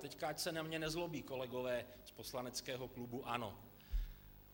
Teď ať se na mě nezlobí kolegové z poslaneckého klubu ANO.